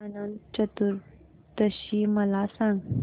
अनंत चतुर्दशी मला सांगा